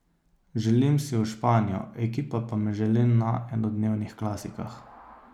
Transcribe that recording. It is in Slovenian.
Želim si v Španijo, ekipa pa me želi na enodnevnih klasikah.